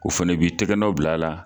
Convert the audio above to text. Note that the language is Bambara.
O fɛnɛ b'i tIgɛnɔw bila la